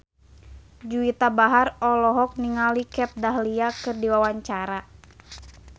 Juwita Bahar olohok ningali Kat Dahlia keur diwawancara